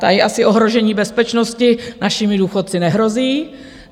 Tady asi ohrožení bezpečnosti našimi důchodci nehrozí.